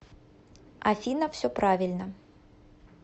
афина все правильно